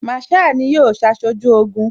Masaa ni yóò ṣaṣojú Ogun